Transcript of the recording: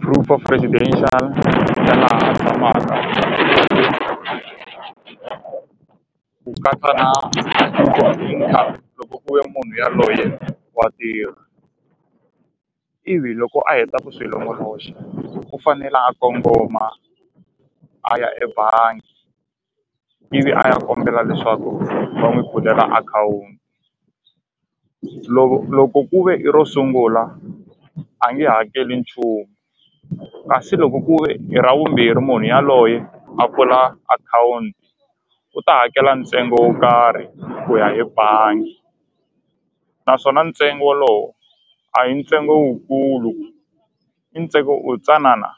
proof of ya laha a tshamaka ku katsa na loko ku ve ya munhu ya loye wa tirha ivi loko a heta ku swi longoloxa u fanele a kongoma a ya ebangi ivi a ya kombela leswaku va n'wi pfulela akhawunti loko loko ku ve i ro sungula a nge hakeli nchumu kasi loko ku ve i ra vumbirhi munhu yaloye a pfula akhawunti u ta hakela ntsengo wo karhi ku ya hi bangi naswona ntsengo lowu a hi ntsengo wu kulu i ntsengo wu tsanana.